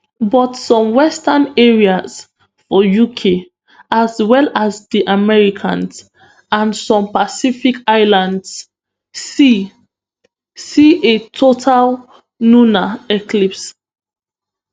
but some western areas for uk as well as di americas and some pacific islands see see a total lunar eclipse